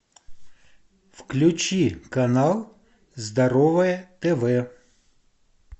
включи канал здоровое тв